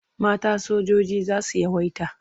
Mata sojoji za su yawaita.